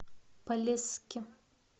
полесске